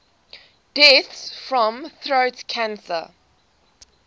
deaths from throat cancer